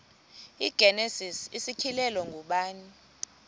igenesis isityhilelo ngubani